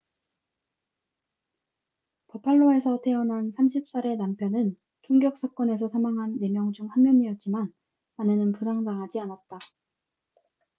버팔로에서 태어난 30살의 남편은 총격 사건에서 사망한 4명 중 한 명이었지만 아내는 부상당하지 않았다